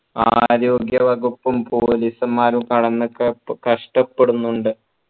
ആരോഗ്യ വകുപ്പും police മാരും കഷ്ടപെടുന്നുണ്ട്